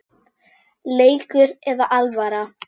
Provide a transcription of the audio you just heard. Leikur eða alvara?